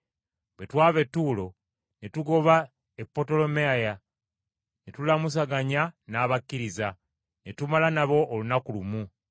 Bwe twava e Ttuulo ne tugoba e Potolemaayi, ne tulamusaganya n’abakkiriza, ne tumala nabo olunaku lumu.